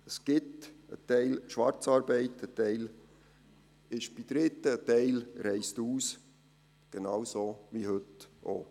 Es gibt ein Teil in der Schwarzarbeit, ein Teil ist bei Dritten, ein Teil reist aus – genauso wie heute auch.